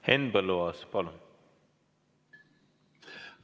Henn Põlluaas, palun!